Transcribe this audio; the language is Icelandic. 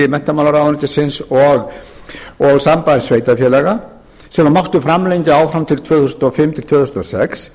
menntamálaráðuneytisins og sambands sveitarfélaga sem mátti framlengja áfram til tvö þúsund og fimm til tvö þúsund og sex